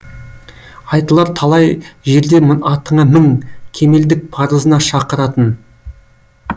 айтылар талай жерде атыңа мің кемелдік парызына шақыратын